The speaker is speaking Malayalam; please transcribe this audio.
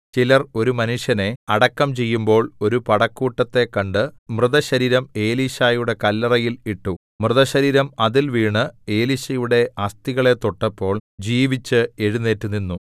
ചിലർ ഒരു മനുഷ്യനെ അടക്കംചെയ്യുമ്പോൾ ഒരു പടക്കൂട്ടത്തെ കണ്ട് മൃതശരീരം എലീശായുടെ കല്ലറയിൽ ഇട്ടു മൃതശരീരം അതിൽ വീണ് എലീശയുടെ അസ്ഥികളെ തൊട്ടപ്പോൾ ജീവിച്ച് എഴുന്നേറ്റുനിന്നു